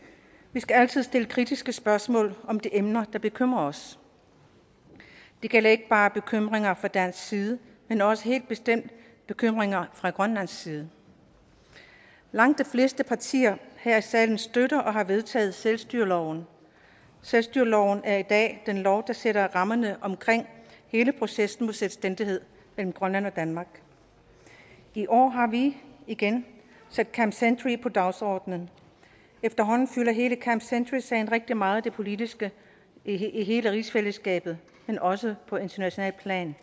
vi skal altid stille kritiske spørgsmål om de emner der bekymrer os det gælder ikke bare bekymringer fra dansk side men også helt bestemt bekymringer fra grønlands side langt de fleste partier her i salen støtter og har vedtaget selvstyreloven selvstyreloven er i dag den lov der sætter rammerne omkring hele processen mod selvstændighed mellem grønland og danmark i år har vi igen sat camp century på dagsordenen efterhånden fylder hele camp century sagen rigtig meget i det politiske i hele rigsfællesskabet men også på internationalt plan